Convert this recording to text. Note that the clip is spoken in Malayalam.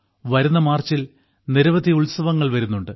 വരുന്ന മാർച്ചിൽ നിരവധി ഉത്സവങ്ങൾ വരുന്നുണ്ട്